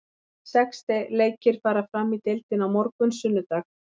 Sex leikir fara fram í deildinni á morgun, sunnudag.